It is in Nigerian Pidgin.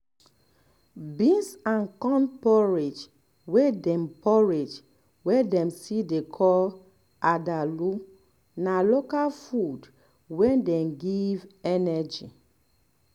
beans and corn porridge wey dem porridge wey dem still dey call adalu na local food wey dey give energy